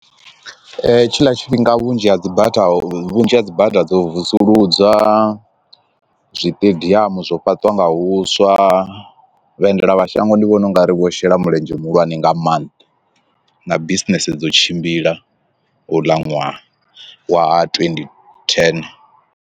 Tshiḽa tshifhinga vhunzhi ha dzi butter vhunzhi ha dzi bada dzo vusuludza zwiṱediamu zwo fhaṱiwa nga huswa vha endelamashango ndi vhona ungari vho shela mulenzhe muhulwane nga maanḓa na bisinese dzo tshimbila uḽa ṅwaha wa twenty ten.